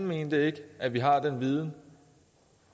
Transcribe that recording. mente at vi har den viden